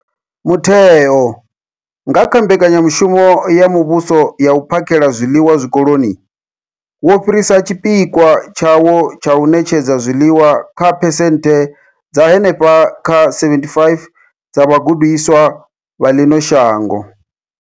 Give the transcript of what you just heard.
Mutheo, nga kha Mbekanya mushumo ya Muvhuso ya U phakhela zwiḽiwa Zwikoloni, wo fhirisa tshipikwa tshawo tsha u ṋetshedza zwiḽiwa kha phesenthe dza henefha kha 75 dza vhagudiswa vha ḽino shango.